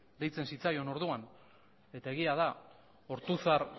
deitzen zitzaion orduan eta egia da ortuzar